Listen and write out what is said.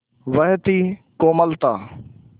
वह थी कोमलता